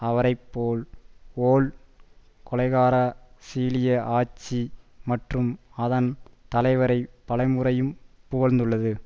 அவரை போல் வோல் கொலைகார சிலிய ஆட்சி மற்றும் அதன் தலைவரை பல முறையும் புகழ்ந்துள்ளது